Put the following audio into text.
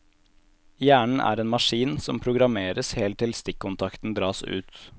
Hjernen er en maskin, som programmeres helt til stikkontakten dras ut.